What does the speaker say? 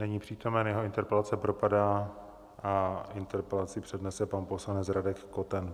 Není přítomen, jeho interpelace propadá a interpelaci přednese pan poslanec Radek Koten.